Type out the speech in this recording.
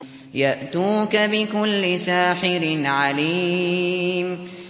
يَأْتُوكَ بِكُلِّ سَاحِرٍ عَلِيمٍ